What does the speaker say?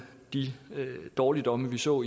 de dårligdomme vi så